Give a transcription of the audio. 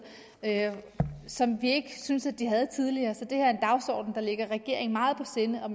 som vi ikke synes at de havde tidligere så det her er en dagsorden der ligger regeringen meget på sinde og